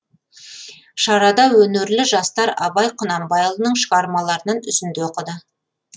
шарада өнерлі жастар абай құнанбайұлының шығармаларынан үзінді оқыды